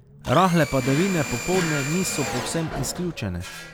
Rahle padavine popoldne niso povsem izključene.